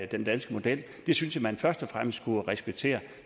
den danske model den synes jeg man først og fremmest skulle respektere